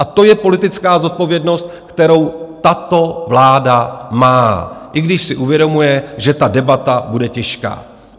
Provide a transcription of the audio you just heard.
A to je politická zodpovědnost, kterou tato vláda má, i když si uvědomuje, že ta debata bude těžká.